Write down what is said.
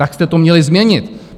Tak jste to měli změnit.